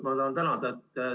Kõigepealt ma tahan teid tänada.